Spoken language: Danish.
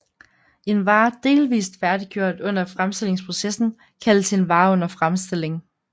En vare delvist færdiggjort under fremstillingsprocessen kaldes en vare under fremstilling